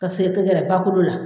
Ka segin ka gɛrɛ bakolo la